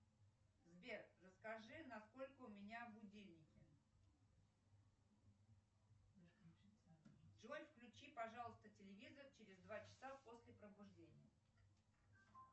сбер расскажи на сколько у меня будильники джой включи пожалуйста телевизор через два часа после пробуждения